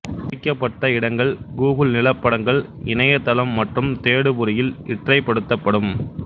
குறிக்கப்பட்ட இடங்கள் கூகுள் நிலப்படங்கள் இணையதளம் மற்றும் தேடு பொறியில் இற்றைப்படுத்தப்படும்